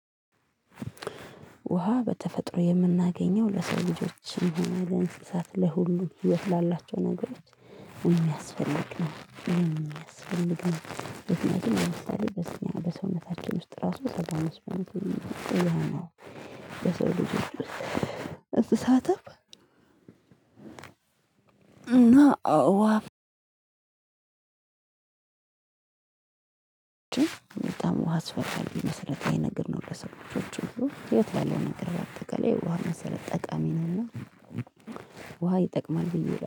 ውሃ በተፈጥሮ የምናገኘው ለሰው ልጆች የሚሆነው ለእንስሳት ለሁሉም ህይወት ላላቸው ነገሮች የሚያስፈልግ ነው የሚያስፈልግ ነው። በሰውነታችን ውስጥ ራሱ ስጋ መስራት በሰው ልጅ አስተሳሰብ። እንስሣትም እና አዋ በጣም ውሃ አስፈላጊ መሰረታዊ ነገር ነው። ለሰው ሁሉ ያለው ነገር በአጠቃላይ ውሃ መሰረት ጠቃሚ ነውና። ውሃ ይጠቅማል ብዬ